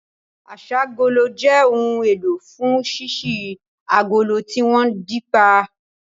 Aṣ'ágolo jẹ́ ohun èlò fún ṣíṣí agolo tí wọ́n dè pa